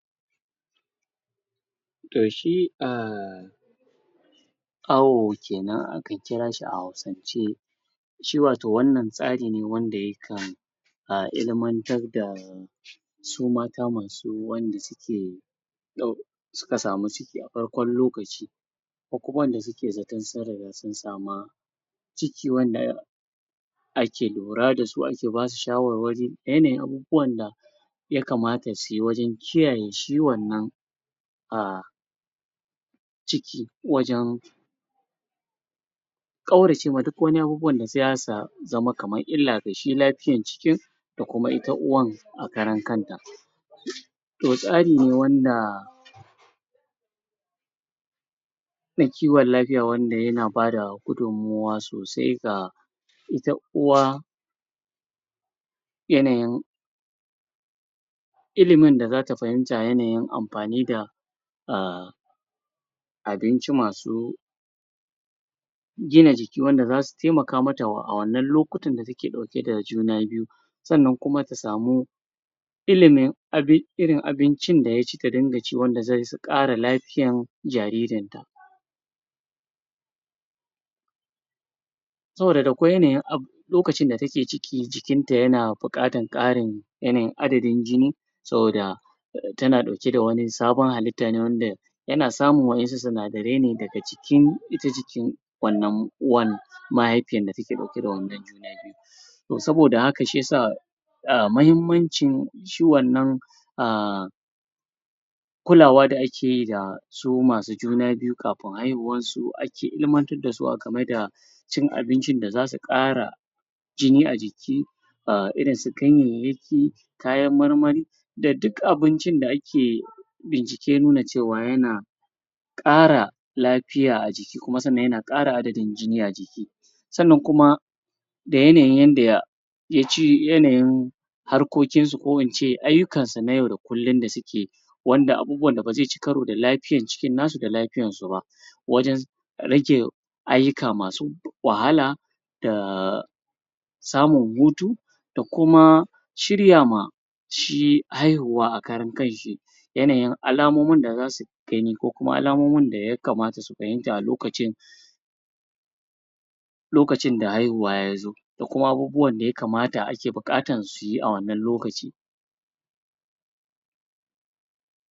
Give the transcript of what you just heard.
toh shi um awo kenan akan kira shi a hausance shi watau wannan tsari ne wanda yakan um ilimantar da su mata masu wanda suke su ka samu ciki a farkon lokaci ko kuma wanda su ke zato sun riga sun samu ciki wanda ake lura da su ake basu shawarwari da yanayin abubuwan da ya kamata su yi wajen kiyaye ciwon nan a ciki wajen kaurace duk waniabu da sai ya sa zama kamar ila ga shi lafiyan jiki da kuma ita uwan a karan kan ta toh tsari wanda ne kiwon lafiya wanda ya na ba da gudunmuwa sosai ga ita uwa yanayin ilimin da za ta fahimta yanayin amfani da um abinci masu gina jiki wanda za su taimaka mata wa a wannan lokuta da ta ke dauke da juna biyu sannan kuma ta samu ilimi irin abincin da ya ci ta dinga ci wanda zai isa lafiyan jaririn ta soboda akwai yanayin lokacin da ta ke ciki jikin ta ya na bukatan karin yanayin adadin jini soboda ta na dauke da wani sabon halitta ne wanda yana samu wayansu sinadirai ne da ga cikin ita jikinwannan uwan mahaifiya da ta ke dauke da wannan juna biyu toh soboda haka shiya sa um muhimmanci shi wannan um kulawa da ake yi da su masu juna biyukafin haihuwan su akeilimantar da su aka mai da cin abincin da za su kara jini a jiki um irin su ganyayaki kayan marmari da duk abincin da ake bincike nuna cewa ya na kara lafiya a jiki kuma sannan ya na kara adadin jini a jiki sannan kuma da yanayi yanda ya ji yanayin harkokin suko in ce ayukan su na yau da kulun da su ke wannan abubuwan da za su ci karo da lafiyan cikin nasu da lafiyan su ba wajen rike ayuka masu wahala da samun hutu da kuma shirya ma shi haihuwa a karan kan shi yanayin alamomi da za su gani ko kuma alamomin da ya kamata su fahimta a lokacin lokacin da haihuwa ya zo da kuma abubuwan da ya kamata a ke bukatan su yi a wannan lokaci